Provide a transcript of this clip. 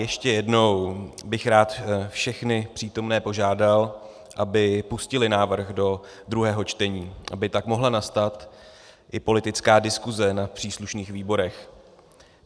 Ještě jednou bych rád všechny přítomné požádal, aby pustili návrh do druhého čtení, aby tak mohla nastat i politická diskuse na příslušných výborech.